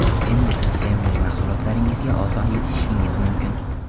Endi siz sevimli mahsulotlaringizga oson yetishishingiz mumkin.